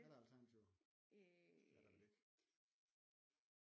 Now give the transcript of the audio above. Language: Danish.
Er der alternativer det er der vel ikke